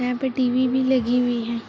यहां पर टी_वी भी लगी हुई है।